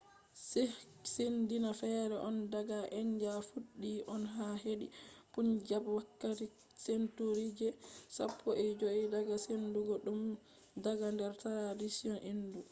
sikhism dina fere on daga india. fuddi on ha hedi punjab wakkati century je sappoi joi daga sendugo dum daga der tradition hindu